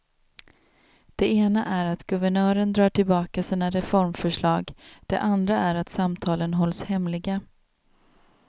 Det ena är att guvernören drar tillbaka sina reformförslag, det andra att samtalen hålls hemliga.